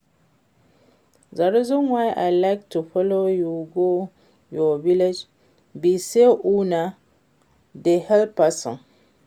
The reason why I like to follow you go your village be say una dey help person